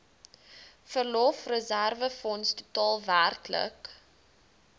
verlofreserwefonds totaal werklik